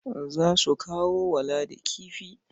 Za su kawo wa Ladi kifi.